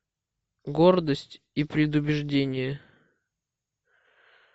гордость и предубеждение